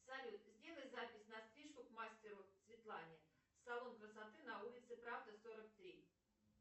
салют сделай запись на стрижку к мастеру светлане салон красоты на улице правды сорок три